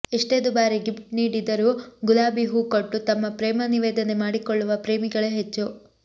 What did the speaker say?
ಎಷ್ಟೇ ದುಬಾರಿ ಗಿಫ್ಟ್ ನೀಡಿದರೂ ಗುಲಾಬಿ ಹೂ ಕೊಟ್ಟು ತಮ್ಮ ಪ್ರೇಮ ನಿವೇದನೆ ಮಾಡಿಕೊಳ್ಳುವ ಪ್ರೇಮಿಗಳೇ ಹೆಚ್ಚು